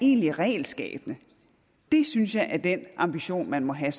egentligt regelskabende synes jeg er den ambition man må have